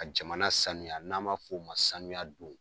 Ka jamana sanuya n'a ma fɔ oo ma sanuya don.